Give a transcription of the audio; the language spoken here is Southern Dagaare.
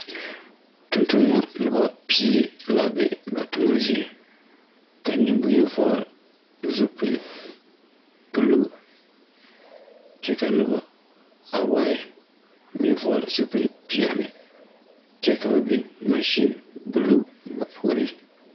Tontonneba noba pie la be ba toma zie ka nenboŋyeni vɔgle zupili buluu kyɛ ka noba awae meŋ vɔgle zupili peɛle kyɛ ka ba biŋ mansee buluu ba puoriŋ.